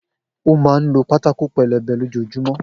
O má n ló pátákó pelebe lójojúmọ́